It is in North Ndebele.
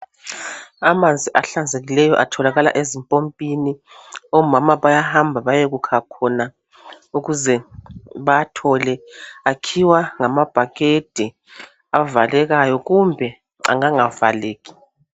Amanzi ahlanzekileyo atholakala ezimpompini omama bayahamba bayekukha khona ukuze bawathole akhiwa ngamabhakede avalekayo kumbe angangavaleki.